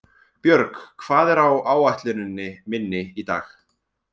Björg, hvað er á áætluninni minni í dag?